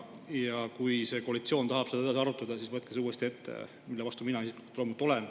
Ja kui koalitsioon tahab seda edasi arutada, siis võtke see uuesti ette, mille vastu mina isiklikult loomulikult olen.